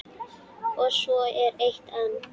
Og svo er eitt enn.